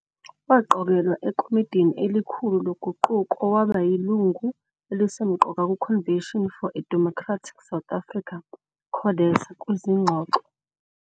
Waqokelwa ekomidini elikhulu loguquko waba yilungu elisemqoka ku Convention For a Democratic South Africa, CODESA, kwizingxoxo.